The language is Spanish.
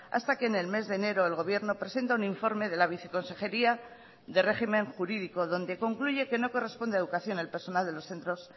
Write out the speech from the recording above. hasta que en el mes de enero el gobierno presenta un informe de la viceconsejería de régimen jurídico donde concluye que no corresponde a educación el personal de los centros